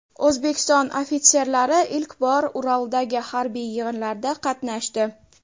O‘zbekiston ofitserlari ilk bor Uraldagi harbiy yig‘inlarda qatnashdi.